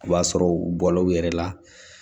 O b'a sɔrɔ u bɔla u yɛrɛ la